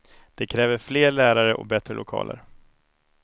De kräver fler lärare och bättre lokaler.